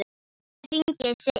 Ég hringi seinna.